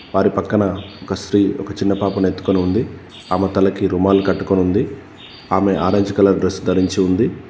వారి పక్కన ఒక స్త్రీ ఒక చిన్న పాపను ఎత్తుకొని ఉంది. ఆమె తలకి రుమాలు కట్టుకొని ఉంది. ఆమె ఆరెంజ్ కలర్ డ్రస్ ధరించి ఉంది.